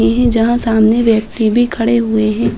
इहे जहाँ सामने व्यक्ति भी खड़े हुए है।